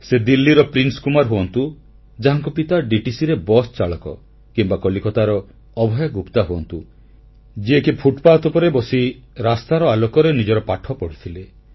ସେ ଦିଲ୍ଲୀର ପ୍ରିନ୍ସକୁମାର ହୁଅନ୍ତୁ ଯାହାଙ୍କ ପିତା ଡିଟିସି ରେ ବସ୍ ଚାଳକ କିମ୍ବା କଲକତାର ଅଭୟ ଗୁପ୍ତା ହୁଅନ୍ତୁ ଯିଏକି ଫୁଟପାଥ ଉପରେ ବସି ରାସ୍ତାର ଆଲୋକରେ ନିଜର ପାଠପଢ଼ା କରିଥିଲେ